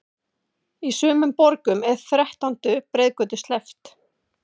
Í sumum borgum er þrettándu breiðgötu sleppt.